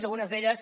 i algunes d’elles